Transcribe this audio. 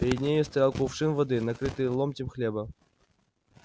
перед нею стоял кувшин воды накрытый ломтем хлеба